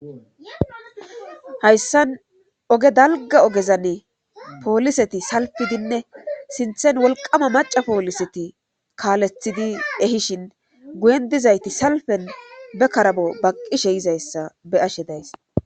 Hayssan oge dalga ogezan pooliseti salpidinne sinthen wolqama maca pooliseti kaalethidi ehishin guyen dizayti salpen be karabo baqqishe yizayssa be ashe days